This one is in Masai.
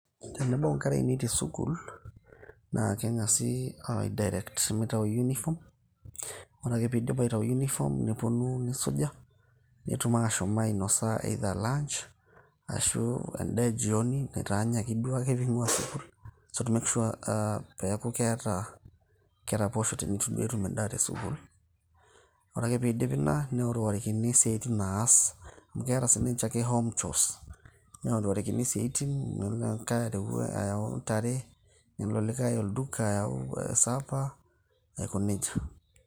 Tenebau inkera ainei tesukul, naa kengasi aa direct mitayu uniform ,ore ake pindip aitayu uniform neponu nisuja. netum ashom ainosa either lunch ashu endaa eee jioni naitanyaki duake engiua sukul to make sure aa piaku keta keraposho tenetu duo enya endaa te sukul ore ake peidip ina neorokoni isiatin naas amu keeta sinche home chores neorokini isiatin na neo oboo areu ntare nelo olikae olduka ayau sapa aikoneijia.